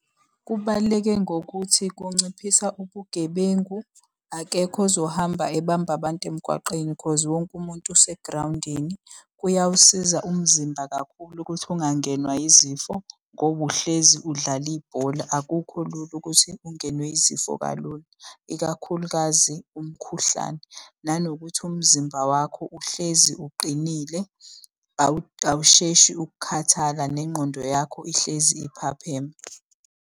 Kubaluleke ngokuthi kunciphisa ubugebengu. Akekho ozohamba ebamba abantu emgwaqeni cause wonke umuntu usegrawundini. Kuyawusiza umzimba kakhulu ukuthi ungangenwa yizifo, ngoba uhlezi udlala ibhola akukho lula ukuthi ungenwe yizifo kalula, ikakhulukazi umkhuhlane. Nanokuthi umzimba wakho uhlezi uqinile, awusheshi ukukhathala nengqondo yakho ihlezi iphapheme.